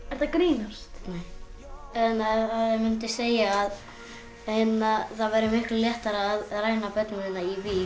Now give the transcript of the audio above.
að grínast nei ég mundi segja að það væri miklu léttara að ræna börnum hérna í